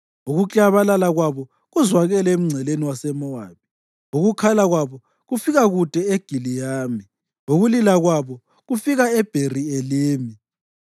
Ukuklabalala kwabo kuzwakele emngceleni waseMowabi, ukukhala kwabo kufika kude e-Egilayimi, ukulila kwabo kufika eBheri-Elimi.